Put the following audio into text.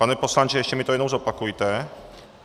Pane poslanče, ještě mi to jednou zopakujte.